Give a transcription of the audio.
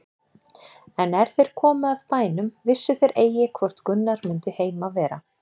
En er þeir komu að bænum vissu þeir eigi hvort Gunnar mundi heima vera.